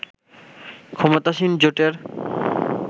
ক্ষমতাসীন জোটের